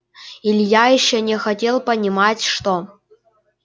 илья ещё не хотел понимать что